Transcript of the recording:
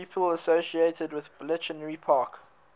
people associated with bletchley park